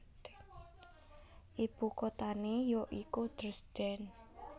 Ibukutané ya iku Dresden